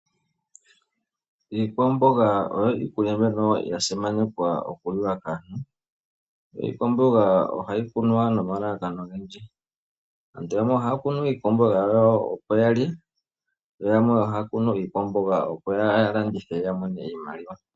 Iikwamboga oyo iikulya mbyono ya simanekwa okuliwa kaantu. Iikwamboga ohayi kunwa nomalalakano ogendji. Aantu yamwe ohaya kunu iikwamboga opo yalye yo yamwe ohaya kunu iikwamboga ya landithe yo ya mone iimaliwa.